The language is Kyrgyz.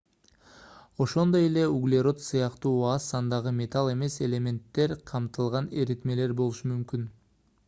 ошондой эле углерод сыяктуу аз сандагы металл эмес элементтер камтылган эритмелер болушу мүмкүн